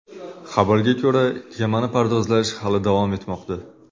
Xabarga ko‘ra, kemani pardozlash hali davom etmoqda.